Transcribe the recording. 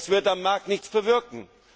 Das wird am Markt nichts bewirken.